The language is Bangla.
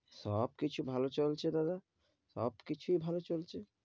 সব কিছু ভালো চলছে দাদা, সব কিছুই ভালো চলছে,